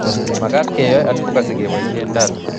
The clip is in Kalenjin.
Makaat keoei advocacy keboisie data